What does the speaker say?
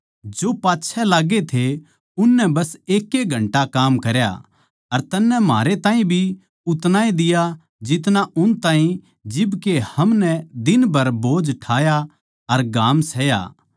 जो पाच्छै लाग्गे थे नै बस एक घंटा काम करया अर तन्नै म्हारै ताहीं भी उतनाए दिया जितना उन ताहीं जिब के हमनै दिनभर बोझ ठाया अर घाम सहया